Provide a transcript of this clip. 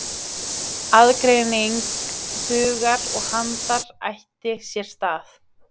Aðgreining hugar og handar átti sér stað.